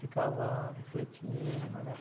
Ficava refletindo, né?